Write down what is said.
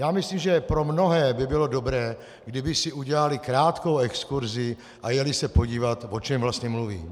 Já myslím, že pro mnohé by bylo dobré, kdyby si udělali krátkou exkurzi a jeli se podívat, o čem vlastně mluví.